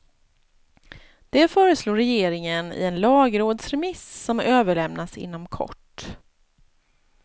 Det föreslår regeringen i en lagrådsremiss som överlämnas inom kort.